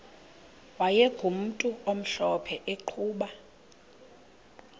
wayegumntu omhlophe eqhuba